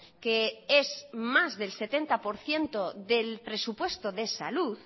que es más del setenta por ciento del presupuesto de salud